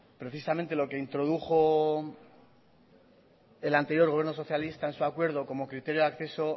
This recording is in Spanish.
precisamente lo que introdujo el anterior gobierno socialista en su acuerdo como criterio de acceso